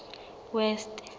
west